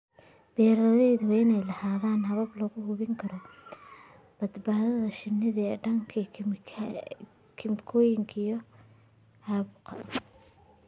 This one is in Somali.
Beeralayda waa inay lahaadaan habab lagu hubinayo badbaadada shinnida ee ka dhanka ah kiimikooyinka iyo caabuqyada.